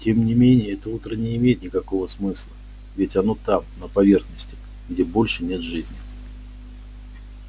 тем не менее это утро не имеет никакого смысла ведь оно там на поверхности где больше нет жизни